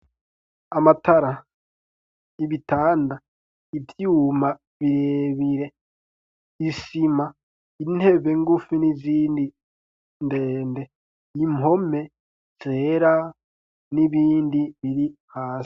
Amatara ,Ibitanda ,Ivyuma birebire ,Isima ,Intebe ngufu, n'izindi ndende , Impome ,zera ,n'ibindi biri hasi.